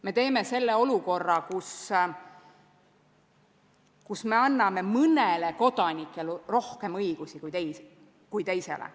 Me teeme selle olukorra, kus me anname mõnele kodanikule rohkem õigusi kui teisele.